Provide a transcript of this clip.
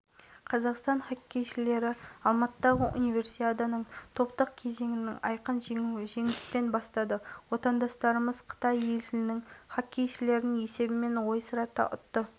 артем бурделев иван степаненко константин савенков михаил рахманов дмитрий гренц ярослав евдокимов бір-бір шайбадан соқты